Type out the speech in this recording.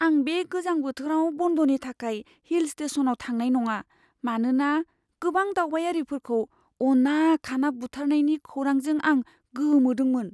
आं बे गोजां बोथोराव बन्दनि थाखाय हिल स्टेशनआव थांनाय नङा, मानोना गोबां दावबायारिफोरखौ अना खाना बुथारनायनि खौरांजों आं गोमोदोंमोन।